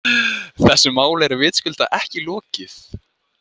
Þessu máli var vitaskuld ekki lokið.